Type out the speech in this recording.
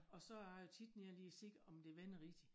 Og så er jeg tit nede og lige se om det vender rigtig